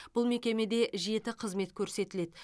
бұл мекемеде жеті қызмет көрсетіледі